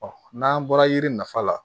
n'an bɔra yiri nafa la